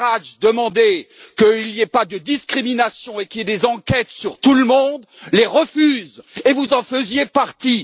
Farage demandait qu'il n'y ait pas de discrimination et qu'il y ait des enquêtes sur tout le monde, les refuse, et vous en faisiez partie.